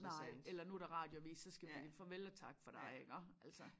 Nej eller nu der radioavis så skal vi farvel og tak for dig iggå altså